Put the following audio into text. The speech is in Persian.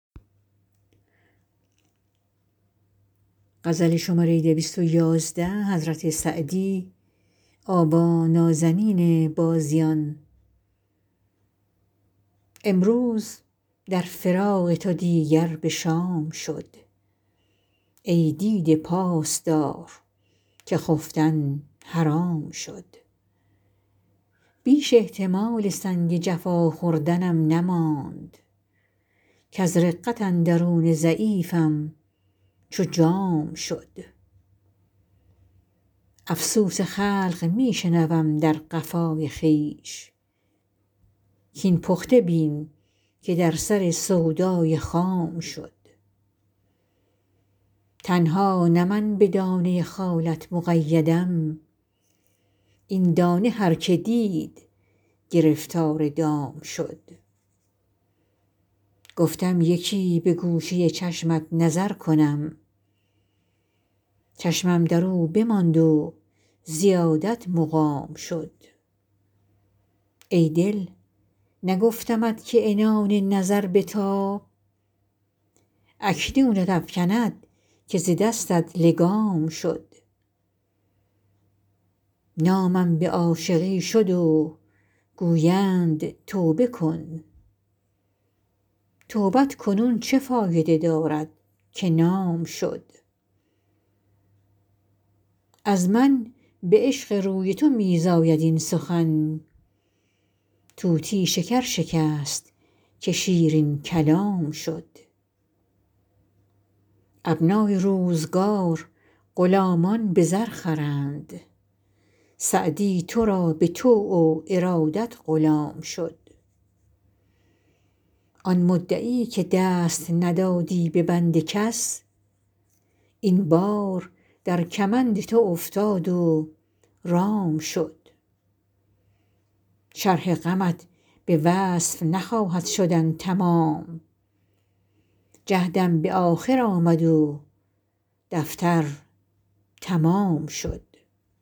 امروز در فراق تو دیگر به شام شد ای دیده پاس دار که خفتن حرام شد بیش احتمال سنگ جفا خوردنم نماند کز رقت اندرون ضعیفم چو جام شد افسوس خلق می شنوم در قفای خویش کاین پخته بین که در سر سودای خام شد تنها نه من به دانه خالت مقیدم این دانه هر که دید گرفتار دام شد گفتم یکی به گوشه چشمت نظر کنم چشمم در او بماند و زیادت مقام شد ای دل نگفتمت که عنان نظر بتاب اکنونت افکند که ز دستت لگام شد نامم به عاشقی شد و گویند توبه کن توبت کنون چه فایده دارد که نام شد از من به عشق روی تو می زاید این سخن طوطی شکر شکست که شیرین کلام شد ابنای روزگار غلامان به زر خرند سعدی تو را به طوع و ارادت غلام شد آن مدعی که دست ندادی به بند کس این بار در کمند تو افتاد و رام شد شرح غمت به وصف نخواهد شدن تمام جهدم به آخر آمد و دفتر تمام شد